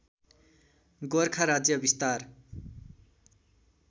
गोरखा राज्य विस्तार